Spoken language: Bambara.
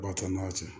Ba to n'a ye